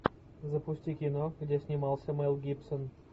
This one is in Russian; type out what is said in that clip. запусти кино где снимался мэл гибсон